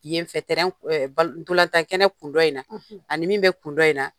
Ɲɛfɛ k bal ndolantankɛnɛ kundɔ in na, ani min bɛ kun dɔ in na.